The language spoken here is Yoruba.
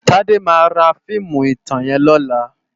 Tade má rá fiimú itán yèn lòlá